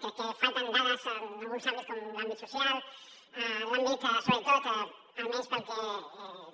crec que falten dades en alguns àmbits com l’àmbit social l’àmbit sobretot almenys pel que